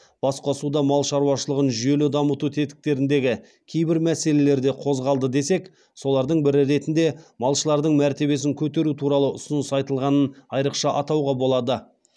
басқосуда мал шаруашылығын жүйелі дамыту тетіктеріндегі кейбір мәселелер де қозғалды десек солардың бірі ретінде малшылардың мәртебесін көтеру туралы ұсыныс айтылғанын айрықша атауға болады